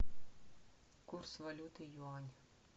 курс валюты юань